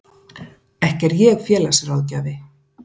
Ekki er ég félagsráðgjafi.